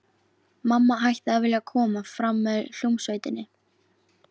Mamma hætti að vilja koma fram með hljómsveitinni.